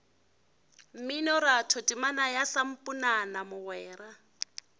mminoratho temana ya samponana mogwera